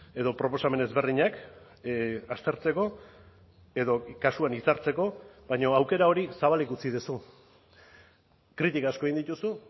edo proposamen ezberdinak aztertzeko edo kasuan hitzartzeko baina aukera hori zabalik utzi duzu kritika asko egin dituzu